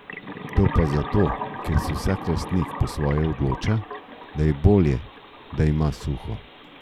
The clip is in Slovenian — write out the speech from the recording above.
To pa zato, ker se vsak lastnik po svoje odloča, da je bolje, da ima suho.